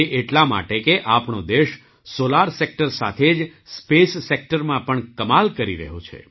તે એટલા માટે કે આપણો દેશ સૉલાર સેક્ટર સાથે જ સ્પેસ સેક્ટરમાં પણ કમાલ કરી રહ્યો છે